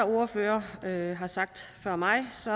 ordførere har sagt før mig